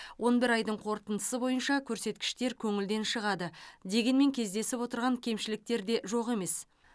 он бір айдың қорытындысы бойынша көрсеткіштер көңілден шығады дегенмен кездесіп отырған кемшіліктер де жоқ емес